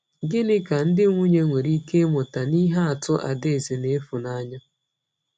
Gịnị ka ndị nwunye nwere ike ịmụta n’ihe atụ Adaeze na Ifunanya?